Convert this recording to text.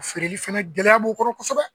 Feereli fɛnɛ gɛlɛya b'o kɔrɔ kosɛbɛ